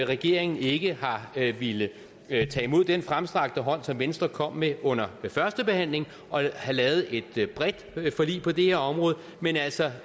regeringen ikke har villet tage imod den fremstrakte hånd som venstre kom med under førstebehandlingen og lavet et bredt forlig på det her område men altså